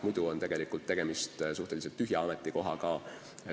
Muidu on tegemist suhteliselt tühja ametikohaga.